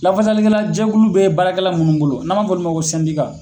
Lafasali kɛla jɛkulu bɛ baara kɛla ninnu bolo n'an m'a fɔ olu ma ko